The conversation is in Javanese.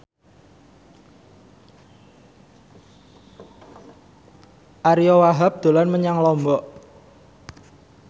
Ariyo Wahab dolan menyang Lombok